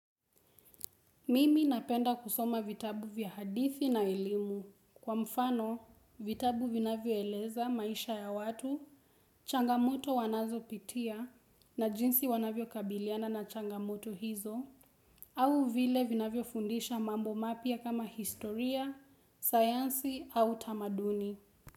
Mimi napenda kusoma vitabu vya hadithi na elimu. Kwa mfano, vitabu vinavyo eleza maisha ya watu, changamoto wanazo pitia na jinsi wanavyo kabiliana na changamoto hizo, au vile vinavyo fundisha mambo mapya kama historia, sayansi au tamaduni.